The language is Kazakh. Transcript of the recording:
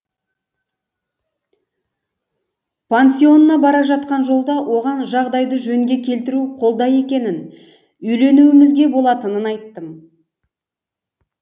пансионына бара жатқан жолда оған жағдайды жөнге келтіру қолда екенін үйленуімізге болатынын айттым